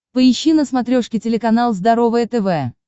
поищи на смотрешке телеканал здоровое тв